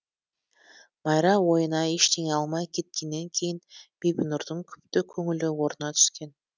майра ойына ештеңе алмай кеткеннен кейін бибінұрдың күпті көңілі орнына түскен